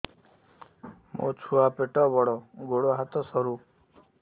ମୋ ଛୁଆ ପେଟ ବଡ଼ ଗୋଡ଼ ହାତ ସରୁ